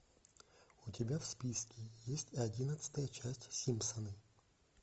у тебя в списке есть одиннадцатая часть симпсоны